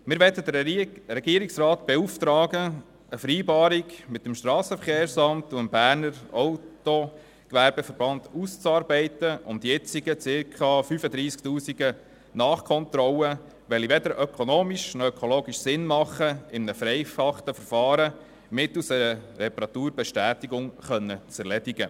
Wir möchten den Regierungsrat beauftragen, eine Vereinbarung mit dem Strassenverkehrs- und Schifffahrtsamt (SVSA) und dem Berner Autogewerbeverband auszuarbeiten, um die circa 35 000 Nachkontrollen, die weder ökonomisch noch ökologisch Sinn machen, in einem vereinfachten Verfahren mittels einer Reparaturbestätigung zu erledigen.